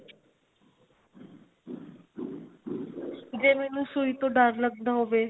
ਜੇ ਮੈਂਨੂੰ ਸੂਈ ਤੋ ਡਰ ਲੱਗਦਾ ਹੋਵੇ